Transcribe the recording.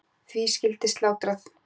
Því skyldi slátrað.